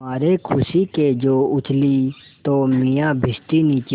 मारे खुशी के जो उछली तो मियाँ भिश्ती नीचे